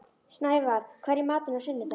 Snævarr, hvað er í matinn á sunnudaginn?